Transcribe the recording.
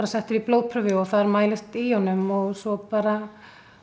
settur í blóðprufu og þar mælist í honum og svo bara